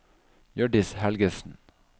Hjørdis Helgesen